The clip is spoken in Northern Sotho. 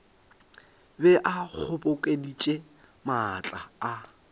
be a kgobokeditše maatla a